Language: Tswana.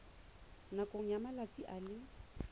nakong ya malatsi a le